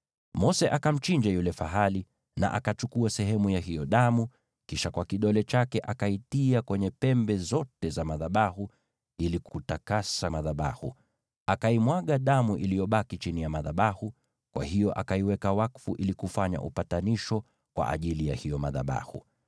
Mose akamchinja yule fahali na akachukua sehemu ya hiyo damu, kisha kwa kidole chake akaitia kwenye pembe zote za madhabahu ili kutakasa madhabahu. Akaimwaga damu iliyobaki chini ya madhabahu. Kwa hiyo akayaweka wakfu ili kufanya upatanisho kwa ajili ya madhabahu.